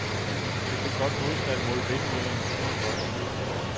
Det fik blot modstanden mod vindmøllerne til at vokse.